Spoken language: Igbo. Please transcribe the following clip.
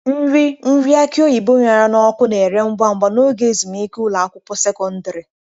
Nri nri aki oyibo ṅara n'ọkụ na-ere ngwa ngwa n'oge ezumike ụlọ akwụkwọ sekọndrị.